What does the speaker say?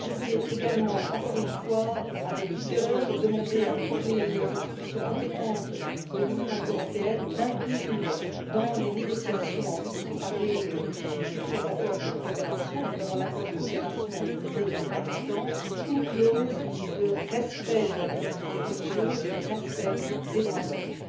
Je voulais également, encore une fois avec vigueur, demander à toutes les institutions compétentes de l'Union européenne d'inclure dans les négociations en vue de préparer les futurs accords de coopération, notamment l'accord de coopération entre l'Union et le Pakistan, une clause de respect de la liberté religieuse et de respect des droits de l'homme.